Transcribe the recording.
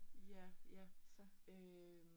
Ja. Ja øh